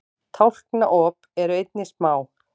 tálknaop eru einnig smá